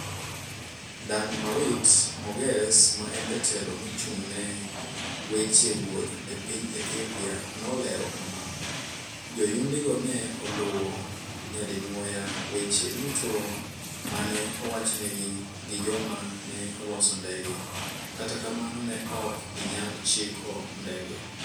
Dagmawit Moges, ma en Jatelo mochung'ne weche wuoth e piny Ethiopia, nolero kama: "Joyundigo ne oluwo nyadinwoya weche duto ma ne owachnegi gi joma ne oloso ndege, kata kamano, ne ok ginyal chiko ndege.